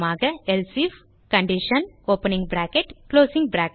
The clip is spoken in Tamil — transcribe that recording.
else if